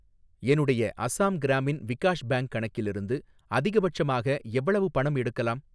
என்னுடைய அசாம் கிராமின் விகாஷ் பேங்க் கணக்கிலிருந்து அதிகபட்சமாக எவ்வளவு பணம் எடுக்கலாம்?